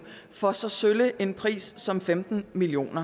for så sølle en pris som femten million